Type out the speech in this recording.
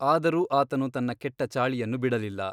ಆದರೂ ಆತನು ತನ್ನ ಕೆಟ್ಟ ಚಾಳಿಯನ್ನು ಬಿಡಲಿಲ್ಲ.